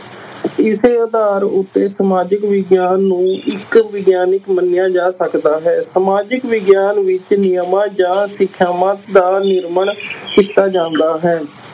ਇਸੇ ਆਧਾਰ ਉੱਤੇ ਸਮਾਜਿਕ ਵਿਗਿਆਨ ਨੂੰ ਇਕ ਵਿਗਿਆਨਕ ਮੰਨਿਆ ਜਾ ਸਕਦਾ ਹੈ, ਸਮਾਜਿਕ ਵਿਗਿਆਨ ਵਿੱਚ ਨਿਯਮਾਂ ਜਾਂ ਸਿਖਿਆਵਾਂ ਦਾ ਨਿਰਮਾਣ ਕੀਤਾ ਜਾਂਦਾ ਹੈ।